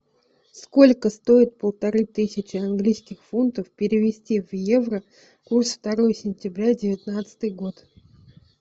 сколько стоит полторы тысячи английских фунтов перевести в евро курс второе сентября девятнадцатый год